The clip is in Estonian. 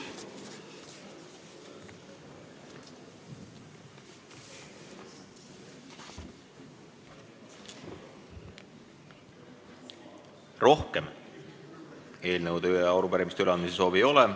Rohkem eelnõude ja arupärimiste üleandmise soovi ei ole.